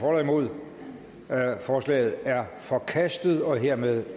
nul forslaget er forkastet og hermed